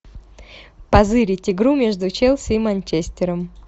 позырить игру между челси и манчестером